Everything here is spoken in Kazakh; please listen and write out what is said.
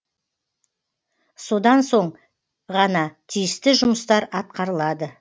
содан соң ғана тиісті жұмыстар атқарылады